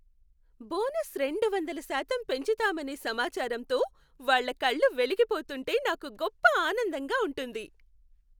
Bonus రెండు వందల శాతం పెంచుతామనే సమాచారంతో వాళ్ళ కళ్ళు వెలిగిపోతుంటే నాకు గొప్ప ఆనందంగా ఉంటుంది.